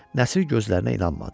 Nəsir gözlərinə inanmadı.